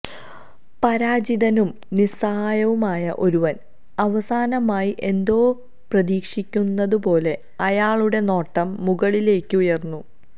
പരാജിതനും നിസ്സഹായനുമായ ഒരുവൻ അവസാനമായി എന്തോ പ്രതീക്ഷിക്കുന്നതു പോലെ അയാളുടെ നോട്ടം മുകളിലേക്ക് ഉയർന്നു